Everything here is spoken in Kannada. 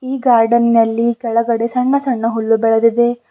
ಈ ಗಾರ್ಡನ್ ನಲ್ಲಿ ಕೆಳಗಡೆ ಸಣ್ಣ ಸಣ್ಣ ಹುಲ್ಲು ಬೆಳದಿದೆ.